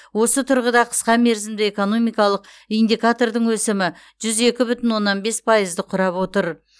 осы тұрғыда қысқа мерзімді экономикалық индикатордың өсімі жүз екі бүтін оннан бес пайызды құрап отыр